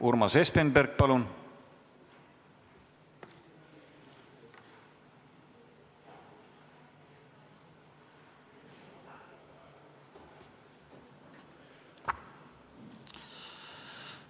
Urmas Espenberg, palun!